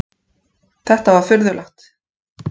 Þetta var furðulegt.